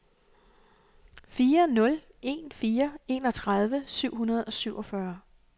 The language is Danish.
fire nul en fire enogtredive syv hundrede og syvogfyrre